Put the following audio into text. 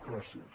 gràcies